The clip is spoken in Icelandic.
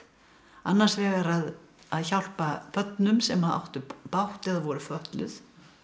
annars vegar að hjálpa börnum sem áttu bágt eða voru fötluð